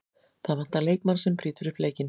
Það vantar leikmann sem brýtur upp leikinn.